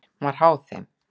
Hún var háð þeim.